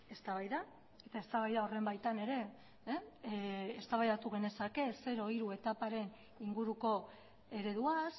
eztabaida eta eztabaida horren baitan ere eztabaidatu genezake zero hiru etaparen inguruko ereduaz